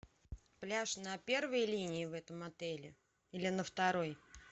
пляж на первой линии в этом отеле или на второй